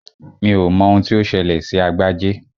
Mi ò mọ ohun tí ó ṣẹlẹ̀ sí Agbájé